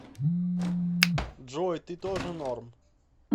джой ты тоже норм